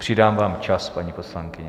Přidávám vám čas, paní poslankyně.